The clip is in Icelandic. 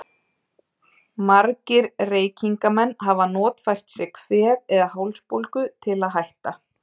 Margir reykingamenn hafa notfært sér kvef eða hálsbólgu til að hætta.